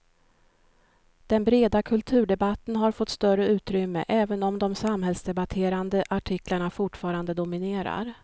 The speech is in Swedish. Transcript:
Den breda kulturdebatten har fått större utrymme, även om de samhällsdebatterande artiklarna fortfarande dominerar.